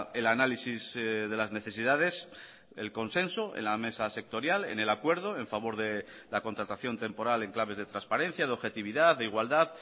el análisis de las necesidades el consenso en la mesa sectorial en el acuerdo en favor de la contratación temporal en claves de transparencia de objetividad de igualdad